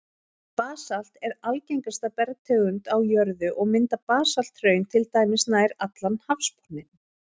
Basalt er algengasta bergtegund á jörðu, og mynda basalthraun til dæmis nær allan hafsbotninn.